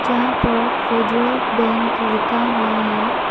यहां पर Federal Bank लिखा हुआ है।